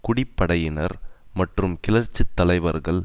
குடிப்படையினர் மற்றும் கிளர்ச்சி தலைவர்கள்